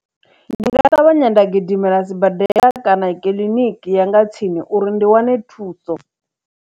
Ndi nga ṱavhanya nda gidimela sibadela kana i kiḽiniki ya nga tsini uri ndi wane thuso.